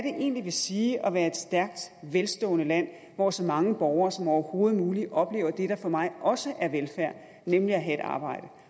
egentlig vil sige at være et stærkt velstående land hvor så mange borgere som overhovedet muligt oplever det der for mig også er velfærd nemlig at have et arbejde